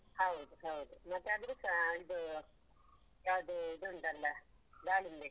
ಹೌದ್ ಹೌದು ಮತ್ತೆ ಅದೃದ್ಸಾ ಇದು ಯಾವ್ದು ಇದುಂಟಲ್ಲ ದಾಳಿಂಬೆ.